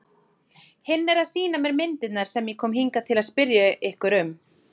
Hinn er að sýna mér myndirnar sem ég kom hingað til að spyrja ykkur um.